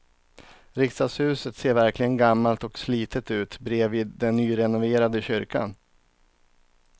Riksdagshuset ser verkligen gammalt och slitet ut bredvid den nyrenoverade kyrkan.